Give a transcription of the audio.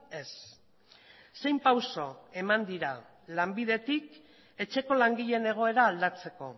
ez zein pauso eman dira lanbidetik etxeko langileen egoera aldatzeko